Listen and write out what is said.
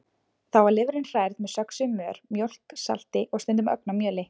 Þá var lifrin hrærð með söxuðum mör, mjólk, salti og stundum ögn af mjöli.